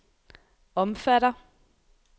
omfatter